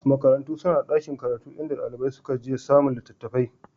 Makarantu suna da ɗakin karatu inda ɗalibai suka je samun littattafai